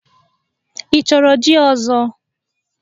Ị chọrọ jí ọzọ?